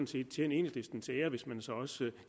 set tjene enhedslisten til ære hvis man så også